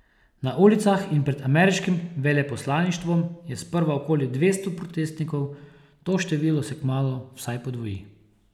Na ulicah in pred ameriškim veleposlaništvom je sprva okoli dvesto protestnikov, to število se kmalu vsaj podvoji.